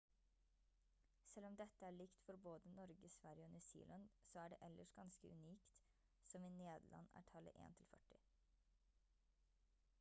selv om dette er likt for både norge sverige og new zealand så er det ellers ganske unikt som i nederland er tallet en til førti